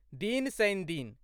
दिन शनिदिन